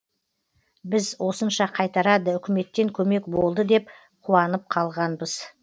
біз осынша қайтарады үкіметтен көмек болды деп қуанып қалғанбыз